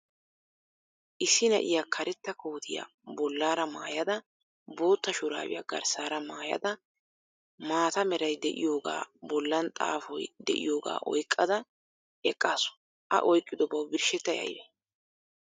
Issi naiyaa karetta kootiyaa bollaara maayada boottaa shuraabiya garssaara maayada maatta meray de"iyoogaa boollan xaafoy de"iyoogaa oyqqada eqqaasu. A oyqqidobaw birshettay aybee?